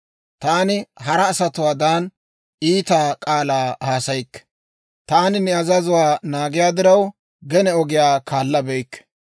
Taani hara asatuwaadan iita k'aalaa haasayikke; taani ne azazuwaa naagiyaa diraw, gene ogiyaa kaallabeykke.